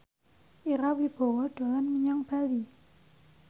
Ira Wibowo dolan menyang Bali